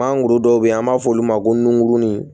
An guru dɔw be yen an b'a f'olu ma ko nuŋurunin